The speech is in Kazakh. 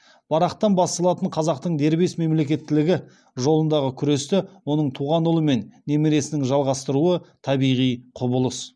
барақтан басталатын қазақтың дербес мемлекеттілігі жолындағы күресті оның туған ұлы мен немересінің жалғастыруы табиғи құбылыс